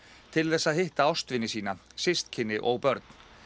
til þess að hitta ástvini sína systkini og börn